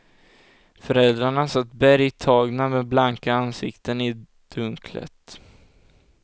Föräldrarna satt bergtagna med blanka ansikten i dunklet.